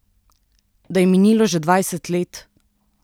Da je minilo že dvajset let?